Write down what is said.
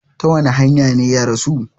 Ta wani hanya ne ya rasu?